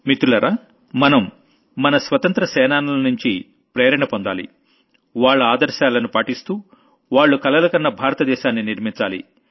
మిత్రులారా మనం మన స్వాతంత్ర్యం సేనానులనుంచి ప్రేరణ పొందాలి వాళ్ల ఆదర్శాలను పాటిస్తూ వాళ్లు కలలుగన్న భారత దేశాన్ని నిర్మించాలి